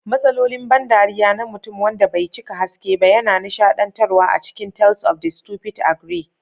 Matsalolin ban dariya na mutum wanda bai cika haske ba yana nishadantarwa a cikin Tales of the Stupid Ogre.